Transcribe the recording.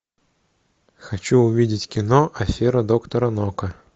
хочу увидеть кино афера доктора нока